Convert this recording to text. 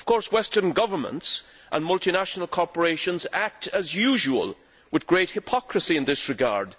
Western governments and multinational corporations act, as usual, with great hypocrisy in this regard.